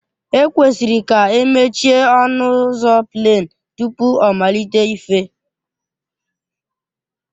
E kwesịrị k'emechie ọnu uzọ pleen tupu ọmalite ife.